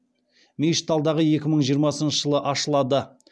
мешіт алдағы екі мың жиырмасыншы жылы ашылады